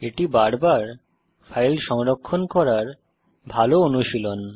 এটি বারবার ফাইল সংরক্ষণ করার ভাল অনুশীলন